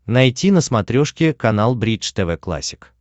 найти на смотрешке канал бридж тв классик